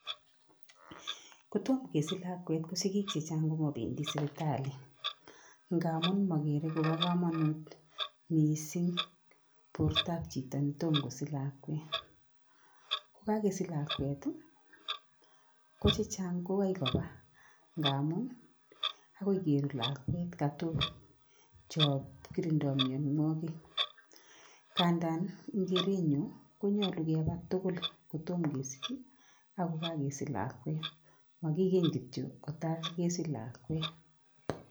Ko tom kesich lakwet ko sikik che chang ko mobendi sipitali, ngamun makere kobo kamanut mising bortab chito ne tom kosich lakwet. Ko kakesich lakwet ii, ko che chang ko koba ngamun, akoi kerut lakwet katok cho kirindoi mionwogik, ngandan eng kerenyu, konyolu keba tugul kotom kesich ii ako kakesich lakwet makikeny kityo ko ta kesich lakwet.